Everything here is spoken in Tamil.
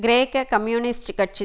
கிரேக்க கம்யூனிஸ்ட் கட்சி